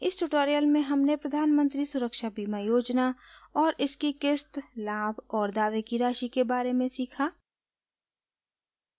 इस ट्यूटोरियल में हमने प्रधान मंत्री सुरक्षा बीमा योजना और इसकी क़िस्त लाभ और दावे की राशि के बारे में सीखा